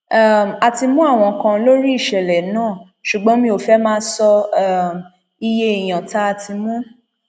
um a ti mú àwọn kan lórí ìṣẹlẹ náà ṣùgbọn mi ò fẹẹ máa sọ um iye èèyàn tá a ti mu